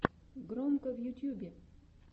громко в ютьюбе